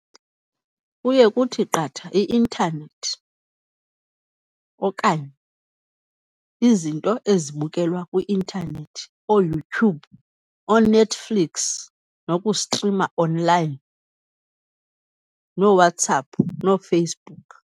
Kuye kuthi qatha i-intanethi okanye izinto ezibukelwa kwi-intanethi, ooYoutube, ooNetflix nokustrima online, nooWhatsApp, nooFacebook.